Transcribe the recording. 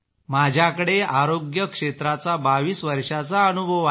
माझ्याकडे आरोग्य क्षेत्राचा 22 वर्षांचा अनुभव आहे